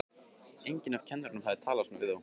Enginn af kennurunum hafði talað svona við þá.